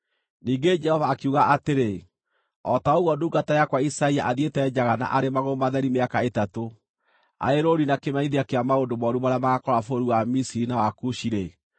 Ningĩ Jehova akiuga atĩrĩ, “O ta ũguo ndungata yakwa Isaia athiĩte njaga na arĩ magũrũ matheri mĩaka ĩtatũ, arĩ rũũri na kĩmenyithia kĩa maũndũ mooru marĩa magaakora bũrũri wa Misiri na wa Kushi-rĩ,